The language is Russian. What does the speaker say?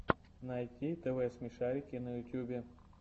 найти тв смешарики на ютьюбе